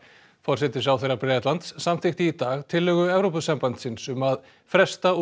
forsætisráðherra Bretlands samþykkti í dag tillögu Evrópusambandsins um að fresta